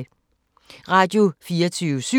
Radio24syv